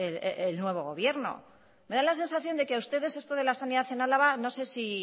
el nuevo gobierno me da la sensación de que ustedes esto de la sanidad en álava no sé si